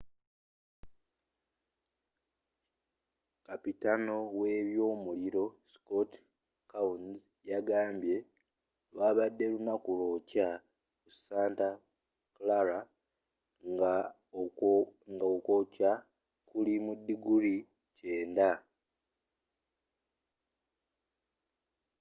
kapitaano w'ebyomuliro scott kouns yagambye lwabadde lunaku lwokya mu santa clara ng'okwokya kuli mu diguli 90